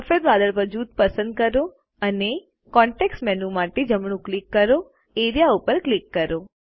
સફેદ વાદળ જૂથ પસંદ કરો અને કોન્ટેક્ષ મેનૂ માટે જમણું ક્લિક કરો અને એઆરઇએ પર ક્લિક કરો